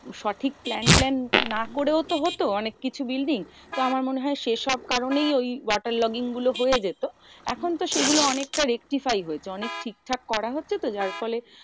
সঠিক plan plan না করেও তো হতো অনেক কিছু building? তো আমার মনে হয় সেসব কারণেই ওই water logging গুলো হয়ে যেত। এখন তো সেগুলো অনেকটা rectify হয়েছে অনেক ঠিকঠাক করা হচ্ছে তো, যার ফলে